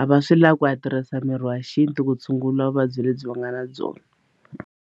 a va swi lavi ku ya tirhisa mirhi wa xintu ku tshungula vuvabyi lebyi va nga na byona.